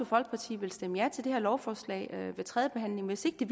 folkeparti vil stemme ja til det her lovforslag ved tredjebehandlingen hvis ikke det